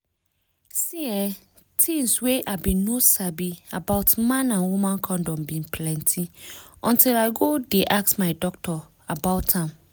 see[um]tins wey i bin no sabi about man and woman condom bin plenty until i go dey ask my doctor about am